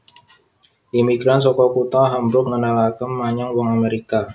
Imigran saka kutha Hamburg ngenalaké menyang wong Amèrika